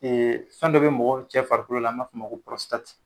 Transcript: fɛn dɔ be mɔgɔ cɛ farikolo la, a b'a fɔ ma ko